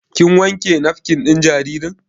Kin wanke nafkin ɗin jaririn?